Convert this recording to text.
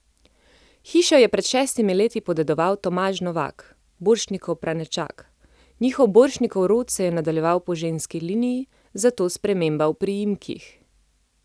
Hišo je pred šestimi leti podedoval Tomaž Novak, Borštnikov pranečak, njihov Borštnikov rod se je nadaljeval po ženski liniji, zato sprememba v priimkih.